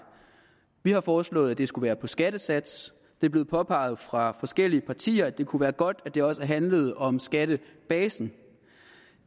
vi har foreslået at det skulle være på skattesatsen det er blevet påpeget fra forskellige partiers side at det kunne være godt at det også handlede om skattebasen